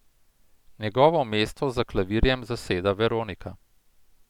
Njegovo mesto za klavirjem zasede Veronika.